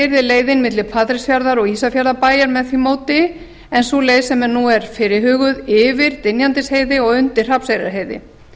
yrði leiðin milli patreksfjarðar og ísafjarðarbæjar með því móti en sú leið sem nú er fyrirhuguð yfir dynjandisheiði og undir hrafnseyrarheiði